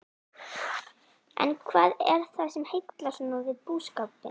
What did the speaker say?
En hvað er það sem heillar svona við búskapinn?